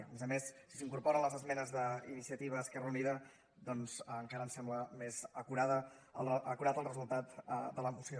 a més a més si s’incorporen les esmenes d’iniciativa esquerra unida doncs encara ens sembla més acurat el resultat de la moció